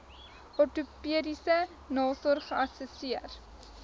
ortopediese nasorg geassesseer